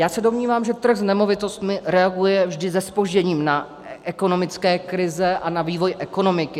Já se domnívám, že trh s nemovitostmi reaguje vždy se zpožděním na ekonomické krize a na vývoj ekonomiky.